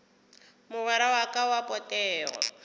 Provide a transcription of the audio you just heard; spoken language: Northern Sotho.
mogwera wa ka wa potego